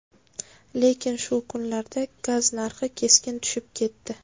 Lekin shu kunlarda gaz narxi keskin tushib ketdi.